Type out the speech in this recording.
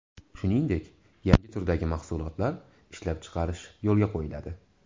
Shuningdek, yangi turdagi mahsulotlar ishlab chiqarish yo‘lga qo‘yiladi.